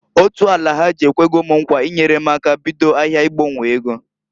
Otu Alahaji ekwego m nkwa inyere m aka bido ahịa ịgbanwo ego.